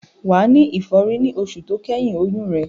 Wà á ní ìfọ́rí ní oṣù tó kẹ́yìn oyún rẹ.